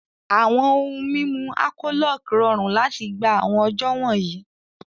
Awọn ohun mimu Alcholoc rọrun lati gba awọn ọjọ wọnyi